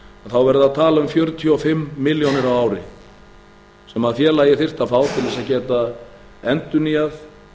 þá er verið að tala um fjörutíu og fimm milljónir á ári sem félagið þyrfti að fá til að geta endurnýjað